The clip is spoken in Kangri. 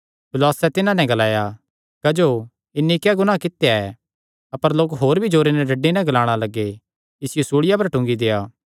पिलातुसैं तिन्हां नैं ग्लाया क्जो इन्हीं क्या गुनाह कित्या ऐ अपर लोक होर भी जोरे नैं डड्डी नैं ग्लाणे लग्गे इसियो सूल़िया पर टूंगी देआ